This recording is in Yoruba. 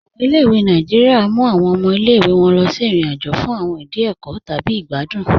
Awọn ilẹ̀-ìwé Nàìjíríà mú awọn ọmọ ilẹ̀-ìwé wọn lọ sí irin-àjò fún awọn ìdí ẹkọ́ tabi igbàdùn.